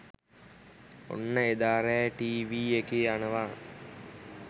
ඔන්න එදා රෑ ටී වී එකේ යනව